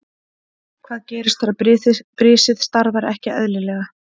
Hvað gerist þegar brisið starfar ekki eðlilega?